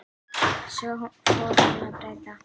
Svo fór hún að breyta.